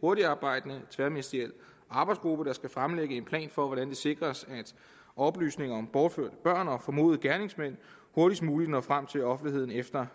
hurtigtarbejdende tværministeriel arbejdsgruppe der skal fremlægge en plan for hvordan det sikres at oplysninger om bortførte børn og formodede gerningsmænd hurtigst muligt når frem til offentligheden efter